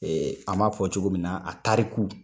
an b'a fɔ cogo min na a taariku.